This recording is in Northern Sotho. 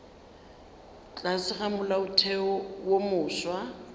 tlase ga molaotheo wo mofsa